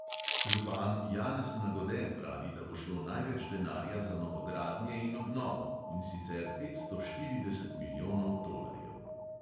Župan janez nagode pravi, da bo šlo največ denarja za novogradnje in obnovo, in sicer petsto štirideset milijonov tolarjev.